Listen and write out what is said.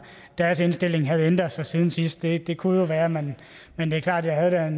deres indstilling havde ændret sig siden sidst det det kunne jo være men men det er klart at jeg